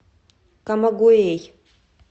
камагуэй